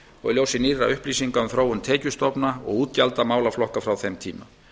og í ljósi nýrra upplýsinga um þróun tekjustofna og útgjalda málaflokka frá þeim tíma